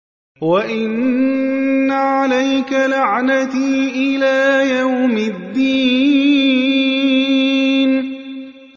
وَإِنَّ عَلَيْكَ لَعْنَتِي إِلَىٰ يَوْمِ الدِّينِ